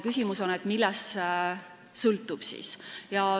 Küsimus on, millest see sõltub.